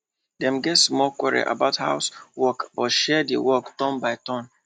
dem get small quarrel about house work but share the work turn by turn